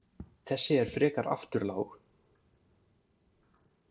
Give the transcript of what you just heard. Þessi er frekar afturlág.